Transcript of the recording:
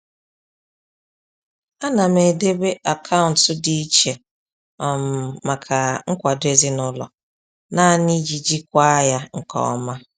Ana m edobe akaụntụ dị iche um maka nkwado ezinụlọ nani iji jikwaa ya nke ọma.